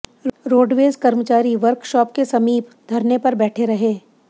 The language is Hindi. रोडवेज कर्मचारी वर्कशॉप के समीप धरने पर बैठे रहे